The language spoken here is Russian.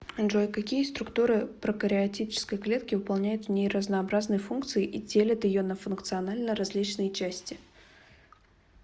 джой какие структуры прокариотической клетки выполняют в ней разнообразные функции и делят ее на функционально различные части